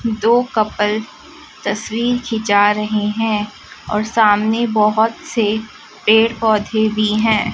दो कपल तस्वीर खींचा रहे हैं और सामने बहोत से पेड़ पौधे भी हैं।